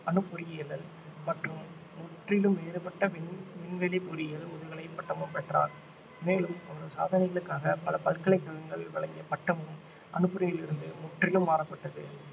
அணுப் பொறியியலில் மற்றும் முற்றிலும் வேறுபட்ட விண் விண்வெளி பொறியியலில் முதுகலை பட்டமும் பெற்றோர் மேலும் அவர் சாதனைகளுக்காக பல பல்கலைக்கழகங்கள் வழங்கிய பட்டமும் அணுப் பொறியியலிலிருந்து முற்றிலும் மாறப்பட்டது